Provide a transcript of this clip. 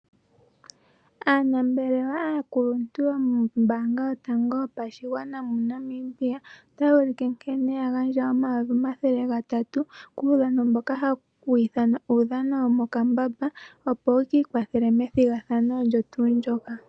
Aanambelewa aakuluntu yomombanga yotango yopashigwana moNamibia otayi ulike nkene yagandja omayovi omathele gatatu kuudhano mboka hawu ithanwa uudhano womokambamba opo yikiikwathele methigathano olyo tuu ndoka.